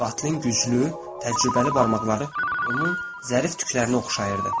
Qatilin güclü, təcrübəli barmaqları onun zərif tüklərini oxşayırdı.